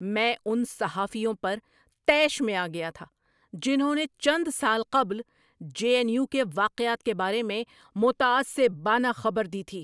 میں ان صحافیوں پر طیش میں آ گیا تھا جنہوں نے چند سال قبل جے این یو کے واقعات کے بارے میں متعصبانہ خبر دی تھی۔